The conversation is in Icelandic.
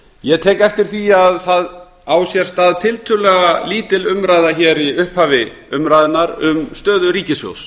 ég tek eftir því að það á sér stað tiltölulega lítil umræða hér í upphafi umræðunnar um stöðu ríkissjóðs